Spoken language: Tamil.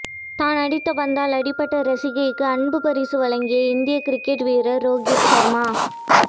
தான் அடித்த பந்தால் அடிபட்ட ரசிகைக்கு அன்பு பரிசு வழங்கிய இந்திய கிரிக்கெட் வீரர் ரோகித் சர்மா